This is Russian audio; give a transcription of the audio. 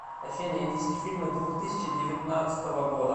афина индийские фильмы двух тысяча девятнадцатого года